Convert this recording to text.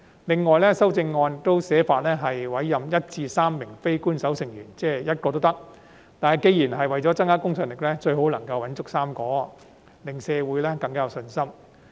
另外，修正案訂明委任1至3名非官守成員，即是1名也可以，但既然是為了增加公信力，最好能找夠3名，令社會更有信心。